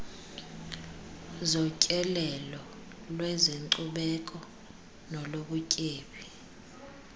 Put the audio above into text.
zotyelelo lwezenkcubeko nolobutyebi